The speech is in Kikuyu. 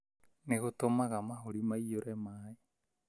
Nĩ gũtũmaga mahũri maiyũre maĩ.